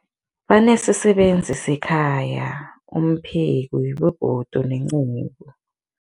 Banesisebenzi sekhaya, umpheki, begodu nenceku.